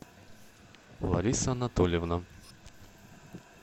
лариса анатольевна